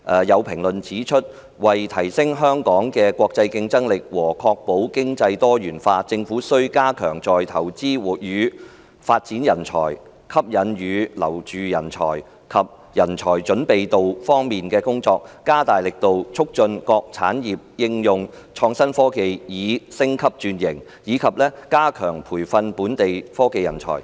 有評論指出，為提升香港的國際競爭力和確保經濟多元化，政府需加強在"投資與發展人才"、"吸引與留住人才"及"人才準備度"方面的工作，加大力度促進各產業應用創新科技以升級轉型，以及加強培訓本地科技人才。